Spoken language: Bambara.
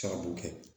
Sababu kɛ